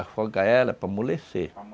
Afoga ela para amolecer.